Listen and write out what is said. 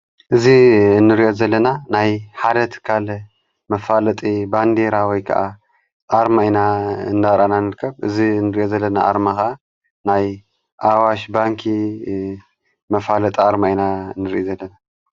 እዝ እንርዮት ዘለና ናይ ሓደት ካል መፋለጢ ባንድይራወይ ከዓ ኣርሚ ኢና እንዳራናንልከብ እዝ እንርዮ ዘለና ኣርማኻ ናይ ኣዋሽ ባንኪ መፋለጥ ኣርሚ ኣይና እንርእኢ ዘለ።